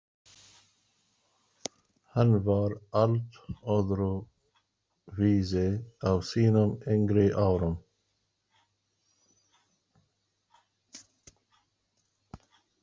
Hann var allt öðru vísi á sínum yngri árum.